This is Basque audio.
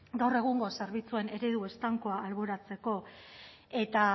gaur egungo zerbitzuen eredu estankoa alboratzeko eta